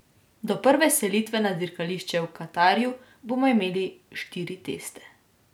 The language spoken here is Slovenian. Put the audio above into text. Do prve selitve na dirkališče v Katarju bomo imeli štiri teste.